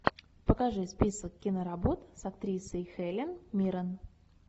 покажи список киноработ с актрисой хелен миррен